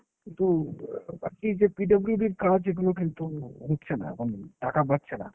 একটু অ্যাঁ বাকি যে PWD র কাজ এগুলো কিন্তু উঠছে না এখন, টাকা পাচ্ছে না।